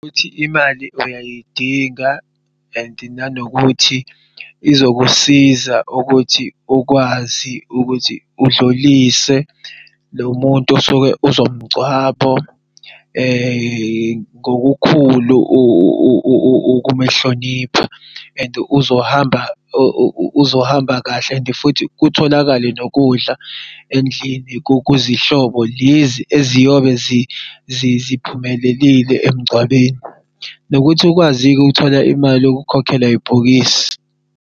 Ukuthi imali uyayidinga and nanokuthi izokusiza ukuthi ukwazi ukuthi udlulise lo muntu osuke uzomgcwabo, ngokukhulu ukumuhlonipha and uzohamba uzohamba kahle. And futhi kutholakale nokudla endlini kokuzazi hlobo lezi eziyobe ziphumelele emngcwabeni. Nokuthi ukwazi ukuthola imali yokukhokhela ibhokisi.